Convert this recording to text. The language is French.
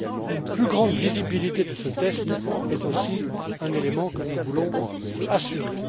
Une plus grande visibilité de ce test est aussi un élément que nous voulons assurer.